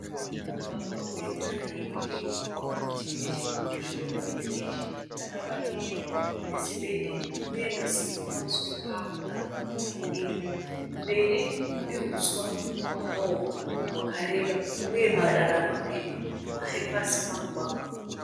Mugwagwa une tara ye gireyi. Parutivi nechekuruboshwe pane bhiriji rakavakirirwa nesimende uye masimbi pamusoro pao arikukwidza mudenga. Mberi kune húswa hwakaoma hwakareba uye marara mapepa aripasi pamugwagwa.